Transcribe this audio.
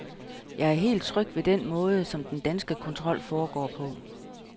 Jeg er helt tryg ved den måde, som den danske kontrol foregår på.